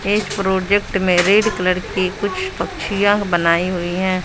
एक प्रोजेक्ट में red colour के कुछ पक्षियां बनाई हुई हैं।